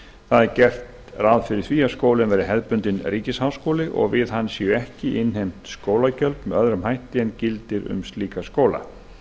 það er gert ráð fyrir því að skólinn verði hefðbundinn ríkisháskóli og við hann séu ekki innheimt skólagjöld með öðrum hætti en gildir um slíka skóla